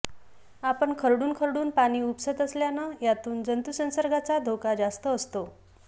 आपण खरडून खरडून पाणी उपसत असल्यानं यातून जंतूसंसर्गाचा धोका जास्त असतो